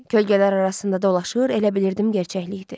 Kölgələr arasında dolaşır, elə bilirdim gerçəklikdir.